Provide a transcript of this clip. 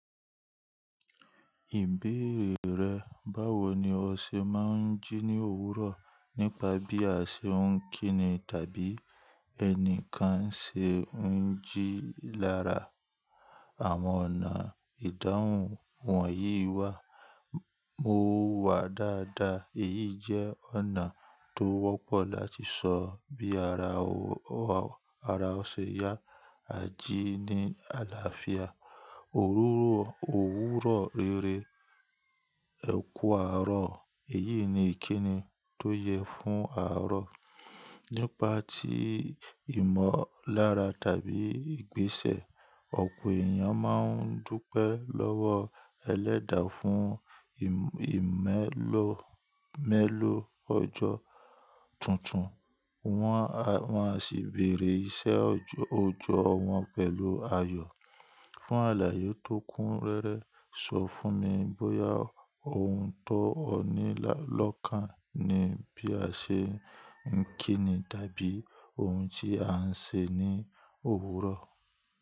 Ìbéèrè rẹ̀, báwo ni o ṣe máa ń jí ní òwúrọ̀ nípa bí a ṣe ń kíni tàbí ẹnìkan ṣe ń jí lára. Àwọn ọ̀nà ìdáhùn wọ̀nyí wà. Mo wà dáadáa èyí jẹ́ ọ̀nà tó wọ́pọ̀ láti sọ bí ara o ṣe yá, a jí ní àlàáfíà. Òwúrọ̀ rere, ẹ kú àárọ̀, èyí ni ìkíni tó yẹ fún àárọ̀. Nípa tí ìmọ̀lára tàbí ìgbésẹ̀, ọ̀pọ̀ èèyàn máa ń dúpẹ́ lọ́wọ́ ẹlẹ́dàá fún ìmẹ́lọ̀ ọjọ́ tuntun, wọn a sì bèrè iṣẹ́ òjò wọn pẹ̀lú ayọ̀. Fún àlàyé tó kún rẹ́rẹ́, sọ fún mi bóyá ohun tó ní lọ́kàn ni bí a ṣe ń kíni tàbí ohun tí a ń ṣe ní òwúrọ̀.